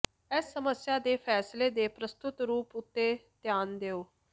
ਇਸ ਸਮੱਸਿਆ ਦੇ ਫੈਸਲੇ ਦੇ ਪ੍ਰਸਤੁਤ ਰੂਪ ਤੇ ਧਿਆਨ ਦਿਓ